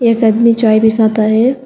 एक आदमी चाय बनाता है।